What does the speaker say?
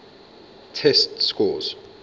test scores